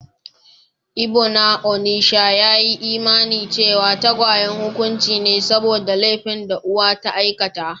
Ibo na onitsha ya yi imanin cewa tagwaye hukunci ne saboda laifin da uwa ta aikata.